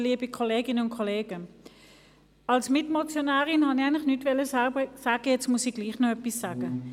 Als Mitmotionärin wollte ich eigentlich nichts sagen, nun muss ich aber trotzdem noch etwas sagen.